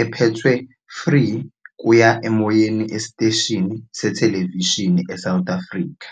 ephethwe free-kuya-emoyeni esiteshini sethelevishini e-South Africa.